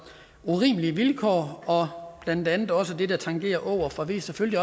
urimelige vilkår og blandt andet også for det der tangerer åger for vi er selvfølgelig